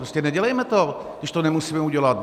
Prostě nedělejme to, když to nemusíme udělat.